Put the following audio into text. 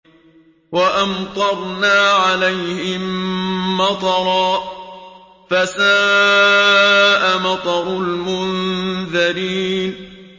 وَأَمْطَرْنَا عَلَيْهِم مَّطَرًا ۖ فَسَاءَ مَطَرُ الْمُنذَرِينَ